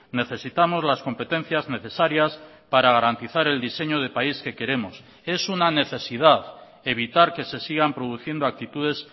necesitamos las competencias necesarias para garantizar el diseño de país que queremos es una necesidad evitar que se sigan produciendo actitudes